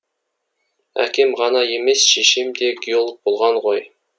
әкем ғана емес шешем де геолог болған ғой